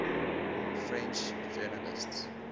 french journalists